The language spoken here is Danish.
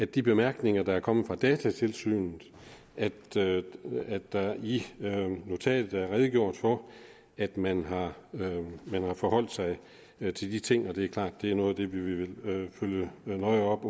de bemærkninger der er kommet fra datatilsynet at der i notatet er redegjort for at man har forholdt sig til de ting og det er klart at det er noget af det vi vil følge nøje op